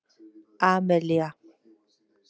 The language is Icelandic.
Amelía